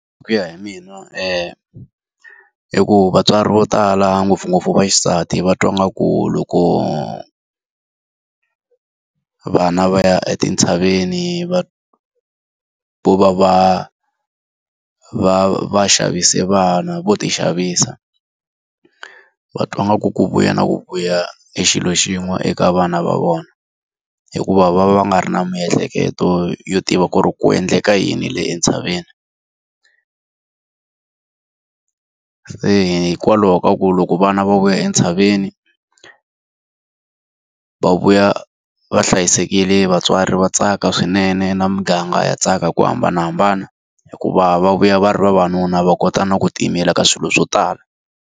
Hi ku ya hi mina hi ku vatswari vo tala ngopfungopfu va xisati va twa ngaku loko vana va ya etintshaveni va va va va va xavise vana, vo ti xavisa. Va twa ngaku ku vuya na ku vuya i xilo xin'we eka vana va vona, hikuva va va nga ri na miehleketo yo tiva ku ri ku endleka yini le entshaveni. Se hikwalaho ka ku loko vana va vuya entshaveni, va vuya va hlayisekile vatswari va tsaka swinene na muganga ya tsaka hi ku hambanahambana. Hikuva va vuya va ri vavanuna va kota na ku tiyimela ka swilo swo tala.